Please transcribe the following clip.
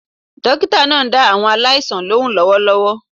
Dókítà náà ń dá àwọn aláìsàn lóhùn lówólówó